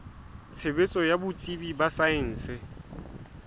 tshebetso ya botsebi ba saense